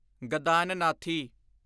ਗਦਾਨਨਾਥੀ